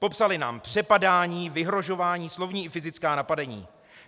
Popsali nám přepadání, vyhrožování, slovní i fyzická napadení.